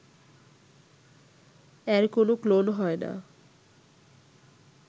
এর কোন ক্লোন হয় না